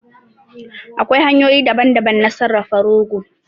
Akwai hanyoyi daban daban na sarrafa rogo